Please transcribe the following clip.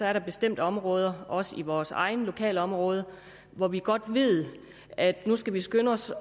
er der bestemte områder også i vores eget lokalområde hvor vi godt ved at nu skal vi skynde os